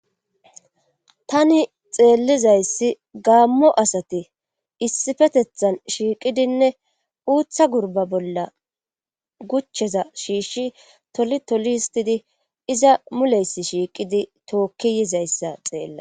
Tani xeellizayssi gaammo asati issifetethan shiiqidinne uutha gurba bolla guchcheza shiishshi toli toli histidi iza muleysi shiiqidi tookki yizayssa xeella.